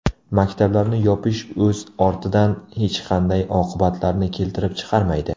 Maktablarni yopish o‘z ortidan hech qanday oqibatlarni keltirib chiqarmaydi.